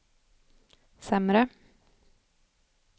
sämre